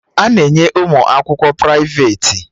A na-enye ụmụ akwụkwọ prịfeti